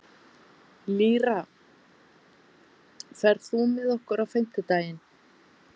Lýra, ferð þú með okkur á fimmtudaginn?